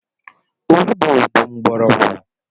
Olugbo bụ mgbọrọgwụ.